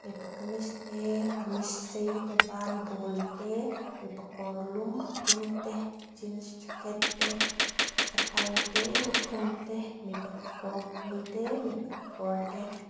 mipa kamis te kamis sei te ban bul te mipa kawrlum a dum te jeans jacket te chapal te lukhum te mipa kekawr bul te mipa kekawrte--